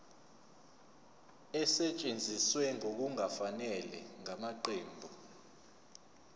esetshenziswe ngokungafanele ngamaqembu